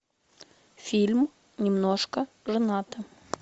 фильм немножко женаты